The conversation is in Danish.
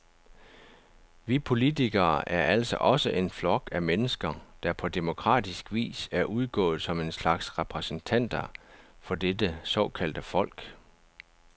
Vi politikere er altså også en flok af mennesker, der på demokratisk vis er udgået som en slags repræsentanter for dette såkaldte folk.